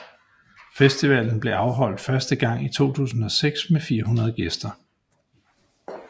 Festivalen blev afholdt første gang i 2006 med 400 gæster